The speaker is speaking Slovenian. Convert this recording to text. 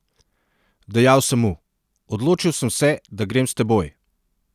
Dejal sem mu: ''Odločil sem se, da grem s teboj.